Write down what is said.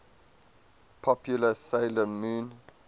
popular 'sailor moon